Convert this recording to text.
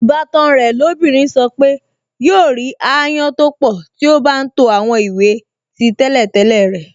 Ìbátan rẹ̀ lóbìnrin sọ pé yóò rí ááyán tó pọ̀ tí ó bá ń to àwọn ìwé tí tẹ́lẹ̀tẹ́lẹ̀ rẹ̀